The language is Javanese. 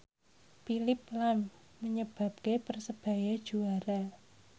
Phillip lahm nyebabke Persebaya juara